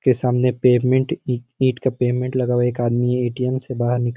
के सामने पेमेंट इ का पेमेंट लगा हुआ एक आदमी है ए.टी.एम. से बाहर निकाल --